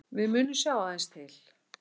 Við munum sjá aðeins til